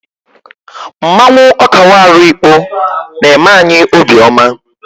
Mmanwụ Okawaru Ikpo na-eme anyị obiọma.